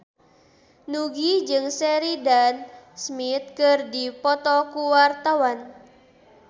Nugie jeung Sheridan Smith keur dipoto ku wartawan